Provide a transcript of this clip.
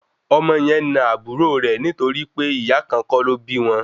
Ọmọ yẹn na àbúrò rẹ̀ nítorí pé ìyá kan kọ́ ló bí wọn